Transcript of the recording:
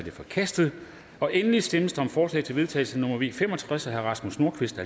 er forkastet endelig stemmes om forslag til vedtagelse nummer v fem og tres af rasmus nordqvist og